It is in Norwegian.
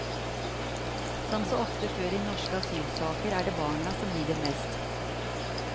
Som så ofte før i norske asylsaker er det barna som lider mest.